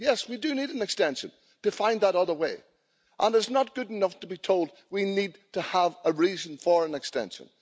50. Yes, we do need an extension to find that other way, and it's not good enough to be told that we need to have a reason for an extension.